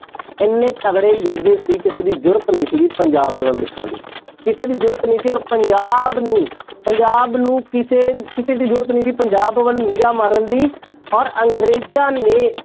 ਇੰਨੇ ਤਕੜੇ ਯੋਧੇ ਸੀ ਕਿਸੇ ਦੀ ਜ਼ੁਰਤ ਨੀ ਸੀਗੀ ਪੰਜਾਬ ਦੇ ਵੱਲ ਦੇਖਣ ਦੀ, ਕਿਸੇ ਦੀ ਜ਼ੁਰਤ ਨੀ ਸੀ ਔਰ ਪੰਜਾਬ ਨੂੰ ਪੰਜਾਬ ਨੂੰ ਕਿਸੇ ਕਿਸੇ ਦੀ ਜ਼ੁਰਤ ਨੀ ਸੀ ਪੰਜਾਬ ਵੱਲ ਨਿਗ੍ਹਾ ਮਾਰਨ ਦੀ ਔਰ ਅੰਗਰੇਜ਼ਾਂ ਨੇ